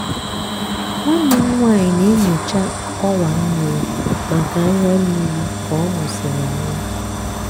nwanne m nwanyị na-enyocha ọwa mmiri maka anya mmiri ka ọ mụsịrị nwa.